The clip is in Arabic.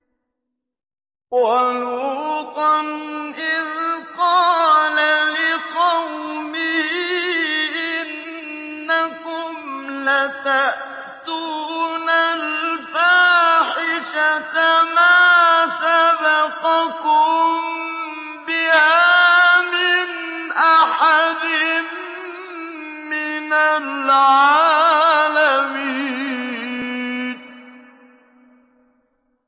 وَلُوطًا إِذْ قَالَ لِقَوْمِهِ إِنَّكُمْ لَتَأْتُونَ الْفَاحِشَةَ مَا سَبَقَكُم بِهَا مِنْ أَحَدٍ مِّنَ الْعَالَمِينَ